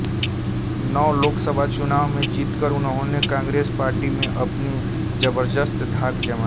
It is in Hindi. नौ लोकसभा चुनावों में जीतकर उन्होंने कांग्रेस पार्टी में अपनी जबरदस्त धाक जमाई